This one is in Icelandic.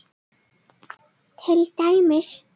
Til dæmis